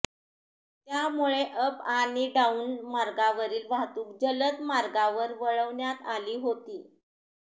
त्यामुळे अप आणि डाउन मार्गावरील वाहतूक जलद मार्गावर वळवण्यात आली होती